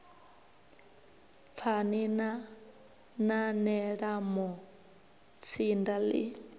pfani na nanela mutsinda ḽi